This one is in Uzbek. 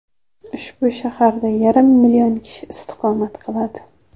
Ushbu shaharda yarim million kishi istiqomat qiladi.